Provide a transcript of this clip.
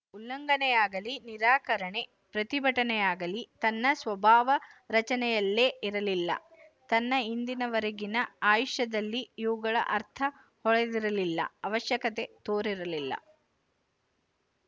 ಉಲ್ಲಂಘನೆಯಾಗಲೀ ನಿರಾಕರಣೆ ಪ್ರತಿಭಟನೆಯಾಗಲೀ ತನ್ನ ಸ್ವಭಾವರಚನೆಯಲ್ಲೇ ಇರಲಿಲ್ಲ ತನ್ನ ಇಂದಿನ ವರೆಗಿನ ಆಯುಷ್ಯದಲ್ಲಿ ಇವುಗಳ ಅರ್ಥ ಹೊಳೆದಿರಲಿಲ್ಲ ಅವಶ್ಯಕತೆ ತೋರಿರಲಿಲ್ಲ